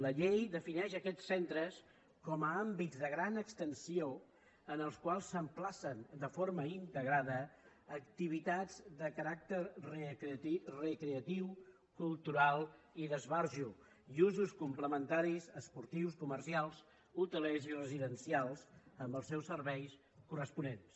la llei defineix aquests centres com a àmbits de gran extensió en els quals s’emplacen de forma integrada activitats de caràcter recreatiu cultural i d’esbarjo i usos complementaris esportius comercials hotelers i residencials amb els seus serveis corresponents